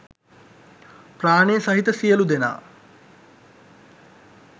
ප්‍රාණය සහිත සියලු දෙනා